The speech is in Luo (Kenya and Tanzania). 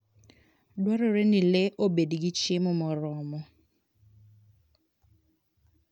Dwarore ni le obed gi chiemo moromo.